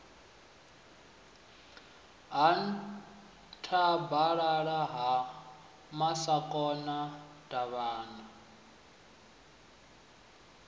ha nthabalala ha masakona davhana